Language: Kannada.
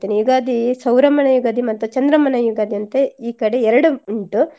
ಯುಗಾದಿ ಸೌರಮಾನ ಯುಗಾದಿ ಮತ್ತೆ ಚಂದ್ರಮಾನ ಯುಗಾದಿ ಅಂತ ಈ ಕಡೆ ಎರಡು ಉಂಟು.